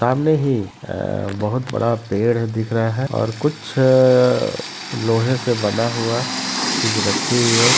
सामने ही अ बहुत बड़ा पेड़ दिख रहा है और कुछ लोहे से बना हुआ चीज़ रखी हुई है।